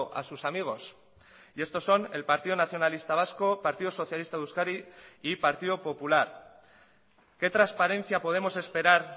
a sus amigos y estos son el partido nacionalista vasco partido socialista de euskadi y partido popular qué transparencia podemos esperar